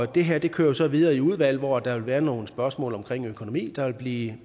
det her kører jo så videre i udvalget og der vil være nogle spørgsmål omkring økonomien der vil blive